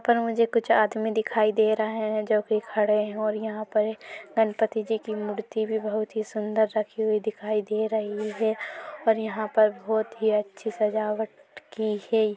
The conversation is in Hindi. यहाँ पर मुझे कुछ आदमी दिखाई दे रहा है जो की खड़े है और यहाँ पर इक गणपति जी की मूर्ति भी बहुत सुंदर रखी हुई दिखाई दे रही है और यहाँ पर बहुत ही अच्छी सजावट की है।